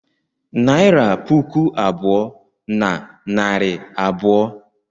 Naịra puku abụọ na narị abụọ.